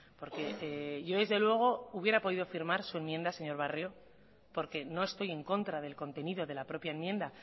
porque yo desde luego hubiera podido firmar su enmienda señor barrio porque no estoy en contra del contenido de la propia enmienda